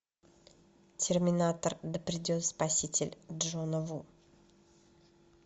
терминатор да придет спаситель джона ву